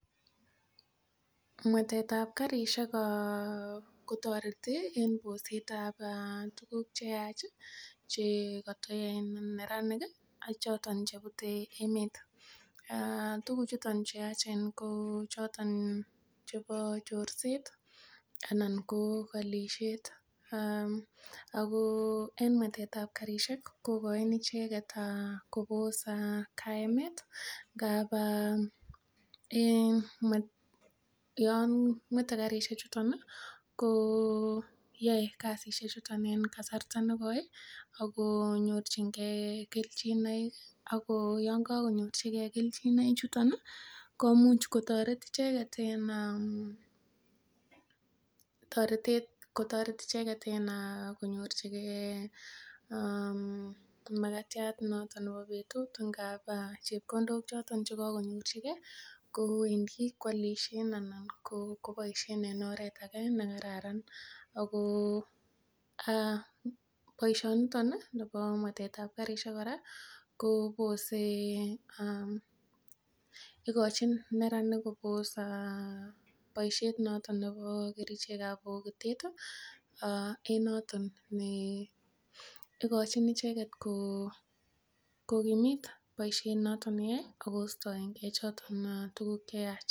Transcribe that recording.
Mwetet ab karisiek kotoreti en boset ab tuguk cheyach chekotoyoe neranik ih ak choton chebute emet tuguk chuton cheyachen ko choton chebo chorset anan ko kolisiet ako en mwetet ab karisiek ko koin icheket kobos kaemet ngap en yon mwete karisiek chuton ih koyoe kasisiek chuton en kasarta nekoi ih ako nyorchingee kelchinoik ako yon kakonyorchigee kelchinoik chuton ih komuch kotoret icheket en toretet kotoret icheket en korchigee makatiat noton nebo betut anan chepkondok choton chekakonyorchigee kowendii koalisien anan koboisien en oret age nekararan ako boisiton nibo mwetet ab karisiek kora kobose ikochin neranik kobos boisiet noton nebo kerichek ab bokitet ih en noton ikochin icheket kokimit boisiet noton neyoe ak kostoengee choton tuguk cheyach.